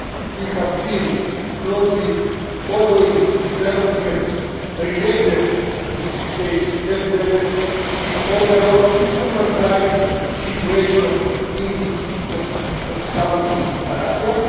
We have been closely following developments related to his case as well as the overall human rights situation in the Kingdom of Saudi Arabia.